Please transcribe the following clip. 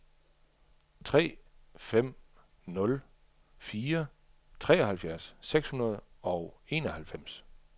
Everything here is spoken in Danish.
tre fem nul fire treoghalvfjerds seks hundrede og enoghalvfems